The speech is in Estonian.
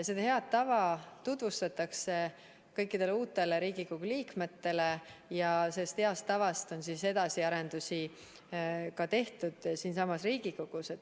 Seda head tava tutvustatakse kõikidele uutele Riigikogu liikmetele ja sellest heast tavast on tehtud edasiarendusi siinsamas Riigikogus.